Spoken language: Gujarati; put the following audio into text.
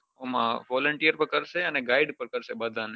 જે volunteer પર કરશે અને guid પન કરશે બઘા ને